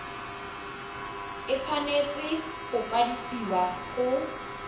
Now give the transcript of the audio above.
e tshwanetse go kwadisiwa go